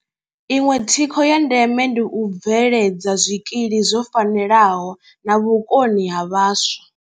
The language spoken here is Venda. Iṅwe thikho ya ndeme ndi u bveledza zwikili zwo fanelaho na vhukoni ha vhaswa.